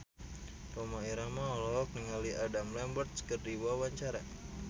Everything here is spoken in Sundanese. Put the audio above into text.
Rhoma Irama olohok ningali Adam Lambert keur diwawancara